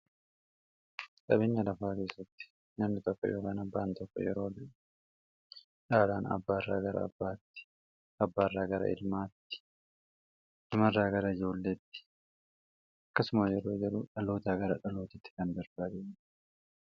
qabinya lafaa keessatti namni toffa yobaanan ba'an toffa yeroo dhaalaan abbaairraa gara baatti abbarragramat marraa gara julletti akkasuma yeroo jeru dhalootaa gara dhalootitti kan darbaade